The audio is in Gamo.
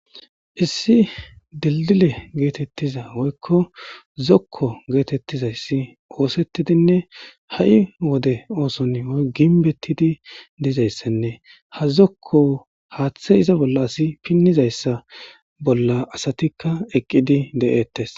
issi dildile geetettiza woykko zokko geetettizayssi oosettidinne ha7i wode ooson oy ginbettidi dizayssenne ha zokko haaththe iza bolla asi pinnizayssa bolla asatikka eqqidi de7eettes